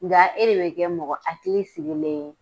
Nga e de bɛ kɛ mɔgɔ hakili sigilen ye.